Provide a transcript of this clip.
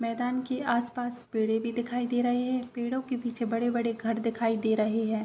मैंदान के आस-पास पेड़ें भी दिखाई दे रहे है। पेड़ो के पीछे बड़े-बड़े घर देखाई दे रहे है।